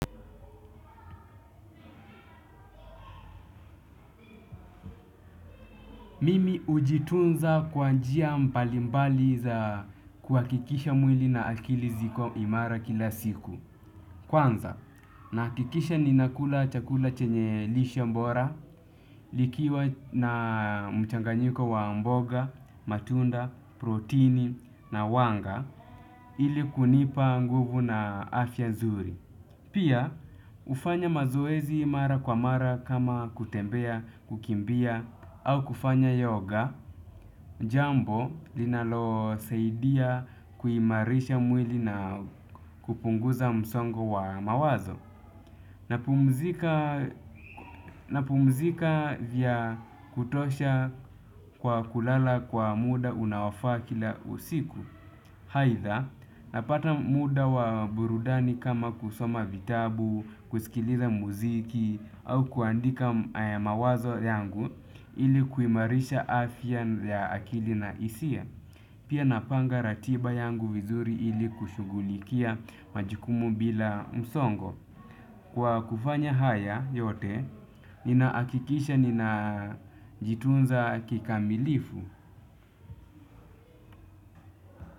Mimi ujitunza kwa njia mbalimbali za kuhakikisha mwili na akili ziko imara kila siku. Kwanza, nahakikisha ninakula chakula chenye lishe mbora, likiwa na mchanganyiko wa mboga, matunda, protini na wanga ili kunipa nguvu na afya nzuri. Pia ufanya mazoezi mara kwa mara kama kutembea kukimbia au kufanya yoga jambo linalosaidia kuimarisha mwili na kupunguza msongo wa mawazo. Napumzika vya kutosha kwa kulala kwa muda unaofaa kila usiku aidha napata muda wa burudani kama kusoma vitabu, kusikiliza muziki au kuandika mawazo yangu ili kuimarisha afya ya akili na hisia. Pia napanga ratiba yangu vizuri ili kushugulikia majukumu bila msongo. Kwa kufanya haya yote, ninaakikisha ninajitunza kikamilifu.